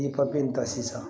N'i ta sisan